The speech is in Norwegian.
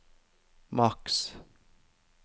maks